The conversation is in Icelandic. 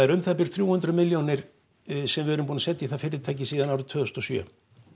um það bil þrjú hundruð milljónir sem við erum búin að setja í það fyrirtæki síðan árið tvö þúsund og sjö